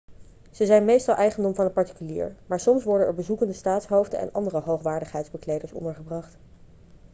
ze zijn meestal eigendom van een particulier maar soms worden er bezoekende staatshoofden en andere hoogwaardigheidsbekleders ondergebracht